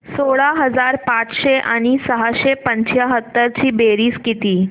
सोळा हजार पाचशे आणि सहाशे पंच्याहत्तर ची बेरीज किती